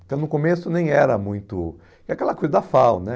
Então no começo nem era muito... É aquela coisa da FAU, né?